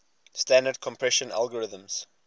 standard compression algorithms